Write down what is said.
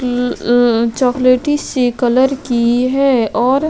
chocolate इसी colour की है और --